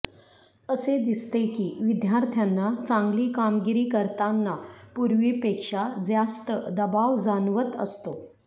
असे दिसते की विद्यार्थ्यांना चांगली कामगिरी करतांना पूर्वीपेक्षा जास्त दबाव जाणवत असतो